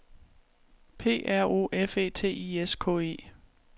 P R O F E T I S K E